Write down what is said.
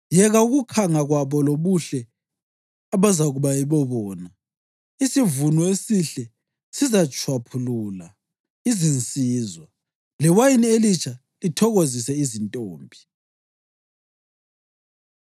Yeka ukukhanga kwabo lobuhle abazakuba yibobona! Isivuno esihle sizatshwaphulula izinsizwa, lewayini elitsha lithokozise izintombi.